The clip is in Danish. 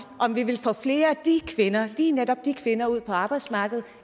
vi vil få flere af de kvinder lige netop de kvinder ud på arbejdsmarkedet